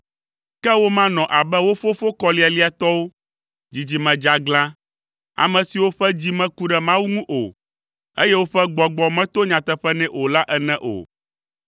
Ke womanɔ abe wo fofo kɔlialiatɔwo, dzidzime dzeaglã, ame siwo ƒe dzi meku ɖe Mawu ŋu o, eye woƒe gbɔgbɔ meto nyateƒe nɛ o la ene o.